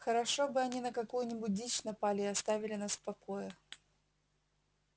хорошо бы они на какую нибудь дичь напали и оставили нас в покое